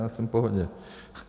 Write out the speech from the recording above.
Já jsem v pohodě.